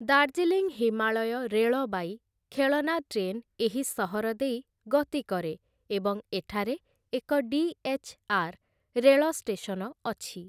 Darjeeling Himalaya railway, ଖେଳନା train ଏହି ସହର ଦେଇ ଗତି କରେ ଏବଂ ଏଠାରେ ଏକ ଡି.ଏଚ୍‌.ଆର୍‌. ରେଳ ଷ୍ଟେସନ ଅଛି ।